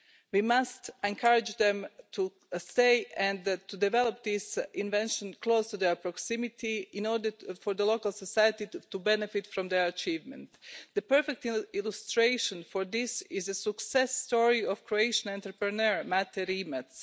We must encourage them to stay and develop these inventions close to their proximity in order for the local society to benefit from their achievement. The perfect illustration for this is the success story of Croatian entrepreneur Mate Rimac.